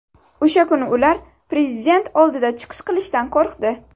O‘sha kuni ular Prezident oldida chiqish qilishdan qo‘rqdi.